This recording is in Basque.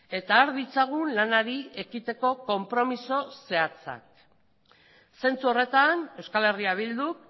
eta har ditzagun lanari ekiteko konpromiso zehatza zentzu horretan euskal herria bilduk